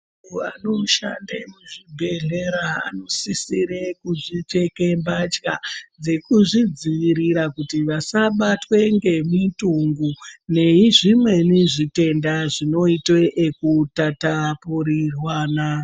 Vantu anoshande muzvibhehlera anosisire kupfeke mbatya dzekuzvidzivirira kuti vasabatwe ngemitungu ngezvimweni zvitenda zvinoita zvekutapurirwana.